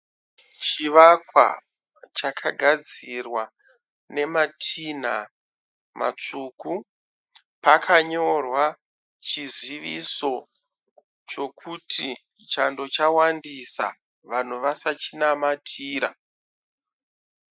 Chivakwa chakagadzirwa nematinha matsvuku. Pakanyorwa chiziviso chokuti Chando chawandisa vanhu vasachinamatira.